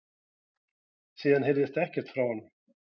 Síðan heyrðist ekkert frá honum